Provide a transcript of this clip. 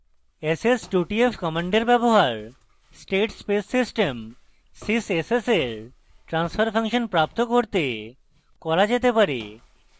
s s 2 t f command ব্যবহার statespace system sys s s এর transfer function প্রাপ্ত করতে করা যেতে পারে